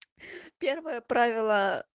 первое правило